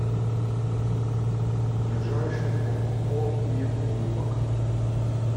ближайший ооо мир улыбок